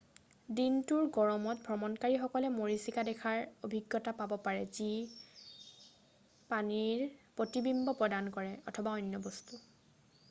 "দিনটোৰ গৰমত ভ্ৰমণকাৰীসকলে মৰীচিকা দেখাৰ অভিজ্ঞতা পাব পাৰে যিয়ে পানীৰ প্ৰতিবিম্ব প্ৰদান কৰে অথবা অন্য বস্তু। "